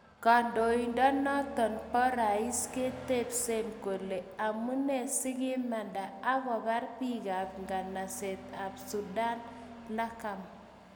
Kandoindanoton bo Rais ketebsen kole amune sikimande ak kobar bikap nganaset abSudan lakam